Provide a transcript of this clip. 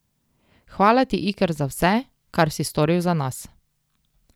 Hvala ti Iker za vse, kar si storil za nas.